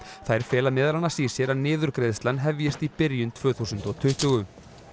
þær fela í sér að niðurgreiðslan hefjist í byrjun tvö þúsund og tuttugu